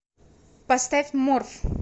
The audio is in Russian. поставь морф